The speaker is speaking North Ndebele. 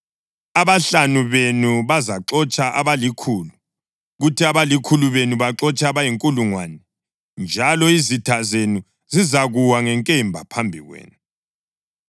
Abahlanu benu bazaxotsha abalikhulu, kuthi abalikhulu benu baxotshe abayinkulungwane, njalo izitha zenu zizakuwa ngenkemba phambi kwenu.